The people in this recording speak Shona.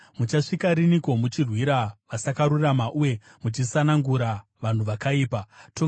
“Muchasvika riniko muchirwira vasakarurama uye muchisanangura vanhu vakaipa? Sera